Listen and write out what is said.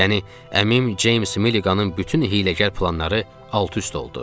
Yəni əmim Ceyms Milliqanın bütün hiyləgər planları alt-üst oldu.